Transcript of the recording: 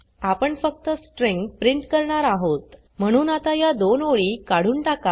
आपण फक्त string print करणार आहोत म्हणून आता या दोन ओळी काढून टाका